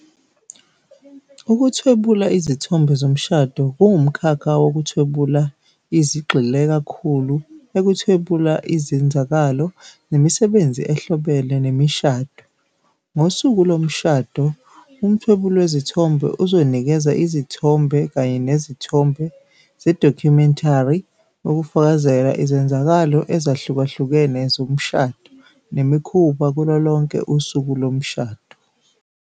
Ukuthwebula izithombe zomshado kuwumkhakha wokuthwebula izigxile kakhulu ekuthwebula izenzakalo nemisebenzi ehlobene nemishado. Ngosuku lomshado, umthwebuli wezithombe uzonikeza izithombe kanye nezithombe ze-documentary ukufakazela izenzakalo ezahlukahlukene zomshado nemikhuba kulo lonke usuku lomshado